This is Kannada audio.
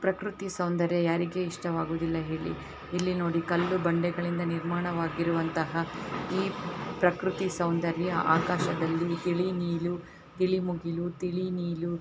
ಪ್ರಕೃತಿ ಸೌಂದರ್ಯ ಯಾರಿಗೆ ಇಷ್ಟವಾಗುವುದಿಲ್ಲ ಹೇಳಿ ಇಲ್ಲಿ ನೋಡಿ ಕಲ್ಲು ಬಂಡೆ ಗಳಿಂದ ನಿರ್ಮಾಣ ವಾಗಿರುವಂತಹ ಈ ಪ್ರಕೃತಿ ಸೌಂದರ್ಯ ಆಕಾಶದಲ್ಲಿ ತಿಳಿ ನಿಲು ತಿಳಿ ಮುಗಿಲು ತಿಳಿ ನಿಲು--